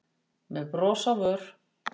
með bros á vör.